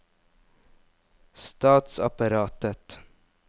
statsapparatet